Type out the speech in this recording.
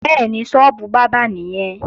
Bẹ́ẹ̀ni, sọ́ọ́bù bábà nìyẹn